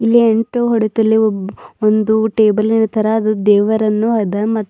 ಇಲ್ಲಿ ಎಂಟು ಹೊಡತಲಿ ಒಬ್ಬ್ ಒಂದು ಟೇಬಲ್ಲಿನ ತರ ಅದು ದೇವರನ್ನು ಅದ ಮತ್ --